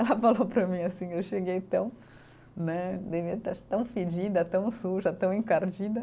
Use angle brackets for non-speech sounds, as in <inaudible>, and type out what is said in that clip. <laughs> Ela falou para mim assim, eu cheguei tão né, acho quê fedida, tão suja, tão encardida.